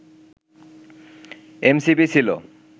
MCP ছিল